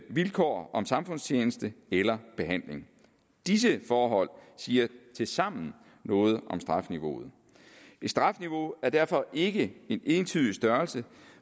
vilkår om samfundstjeneste eller behandling disse forhold siger tilsammen noget om strafniveauet et strafniveau er derfor ikke en entydig størrelse